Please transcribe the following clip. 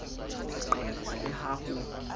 ho qekwa le ha ho